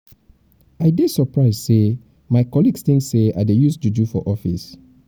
i dey surprise sey my colleagues tink sey i dey use juju use juju for office.